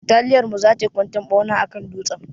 Bataliyar mu za tai kwantan ɓauna akan dutsen.